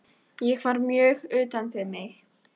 Ég var mjög utan við mig.